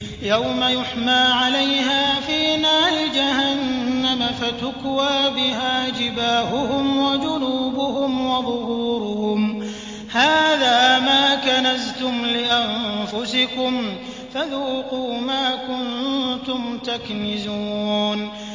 يَوْمَ يُحْمَىٰ عَلَيْهَا فِي نَارِ جَهَنَّمَ فَتُكْوَىٰ بِهَا جِبَاهُهُمْ وَجُنُوبُهُمْ وَظُهُورُهُمْ ۖ هَٰذَا مَا كَنَزْتُمْ لِأَنفُسِكُمْ فَذُوقُوا مَا كُنتُمْ تَكْنِزُونَ